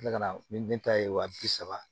Tila ka na ni den ta ye wa bi saba